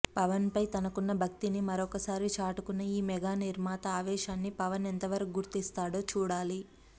పవన్ పై తనకున్న భక్తిని మరొకసారి చాటుకున్న ఈ మెగా నిర్మాత ఆవేశాన్ని పవన్ ఎంత వరకు గుర్తిస్తాడో చూడాలి